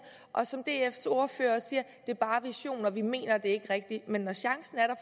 og som dfs ordfører siger det er bare visioner vi mener det ikke rigtigt men når chancen er der